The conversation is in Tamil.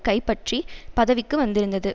கைப்பற்றி பதவிக்கு வந்திருந்தது